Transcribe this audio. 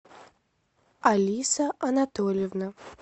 алиса анатольевна